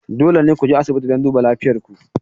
Dole ne ku je asibiti don duba lafiyar ku.